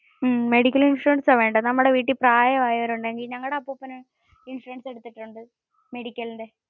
ഹ്ഹ്മ്മ്. medical insurance ആണ് വേണ്ടത്. നമ്മുടെ വീട്ടിൽ പ്രായം ആയവര് ഉണ്ടെങ്കിൽ, ഞങ്ങടെ അപ്പൂപ്പന് ഇൻഷുറൻസ് എടുത്തിട്ടുണ്ട് medicalinu.